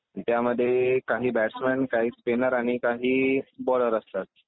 त्यामध्ये काही बॅट्समन काही स्पिनर आणि काही बोलर असतात.